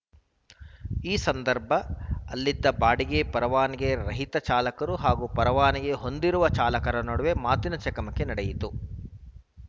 ಈ ಸಂದರ್ಭ ಅಲ್ಲಿದ್ದ ಬಾಡಿಗೆ ಪರವಾನಗಿ ರಹಿತ ಚಾಲಕರು ಹಾಗೂ ಪರವಾನಗಿ ಹೊಂದಿರುವ ಚಾಲಕರ ನಡುವೆ ಮಾತಿನ ಚಕಮಕಿ ನಡೆಯಿತು